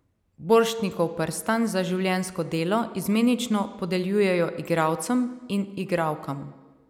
Borštnikov prstan za življenjsko delo izmenično podeljujejo igralcem in igralkam.